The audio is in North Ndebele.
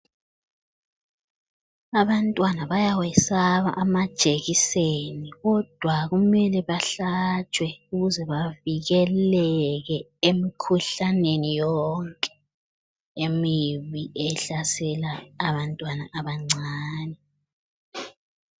Abantwana bayawesaba amajekiseni kodwa kumele bahlatshwe ukuze bavikeleke emikhuhlaneni yonke emibi ehlasela abantwana abancani.